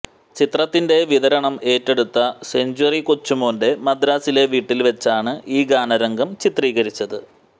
ചിത്രത്തിന്റെ വിതരണം ഏറ്റെടുത്ത സെഞ്ച്വറി കൊച്ചുമോന്റെ മദ്രാസിലെ വീട്ടില് വച്ചാണ് ഈ ഗാന രംഗം ചിത്രീകരിച്ചത്